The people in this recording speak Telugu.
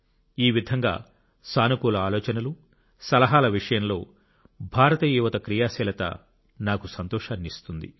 ఈ విధంగా సానుకూల ఆలోచనలు సలహాల విషయంలో భారతీయ యువత క్రియాశీలత నాకు సంతోషాన్ని ఇస్తుంది